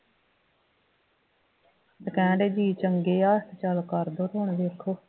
ਕਹਿਣ ਡੇ ਬਈ ਚੰਗੇ ਆ ਚੱਲ ਕਰਦੋ ਤੇ ਹੁਣ ਵੇਖੋ